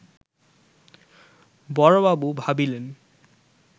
বড়বাবু ভাবিলেন